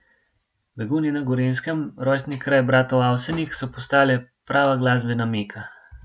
Begunje na Gorenjskem, rojstni kraj bratov Avsenik, so postale prava glasbena Meka.